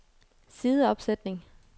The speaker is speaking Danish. sideopsætning